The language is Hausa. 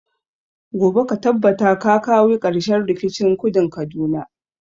Gobe ka tabbata ka kawi karshen rikicin kudun kaduna!